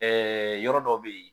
yɔrɔ dɔ bɛ ye.